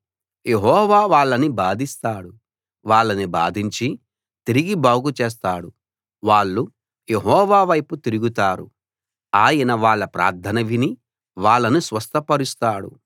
యెహోవా వాళ్ళని బాధిస్తాడు వాళ్ళని బాధించి తిరిగి బాగు చేస్తాడు వాళ్ళు యెహోవా వైపు తిరుగుతారు ఆయన వాళ్ళ ప్రార్థన విని వాళ్ళను స్వస్థపరుస్తాడు